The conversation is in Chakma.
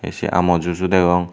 se amul juice u degong.